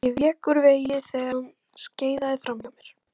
Ég vék úr vegi þegar hann skeiðaði framhjá mér.